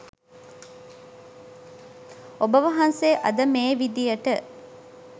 ඔබ වහන්සේ අද මේ විදියට